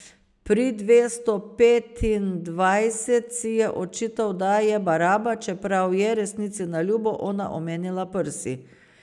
Pri dvesto petindvajset si je očital, da je baraba, čeprav je, resnici na ljubo, ona omenila prsi.